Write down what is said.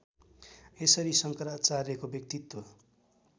यसरी शङ्कराचार्यको व्यक्तित्व